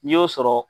N'i y'o sɔrɔ